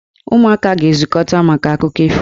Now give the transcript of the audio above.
Ụmụaka ga-ezukọta maka akụkọ ifo.